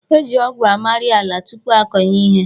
E ji ọgwụ amari ala tupu akọnye ihe.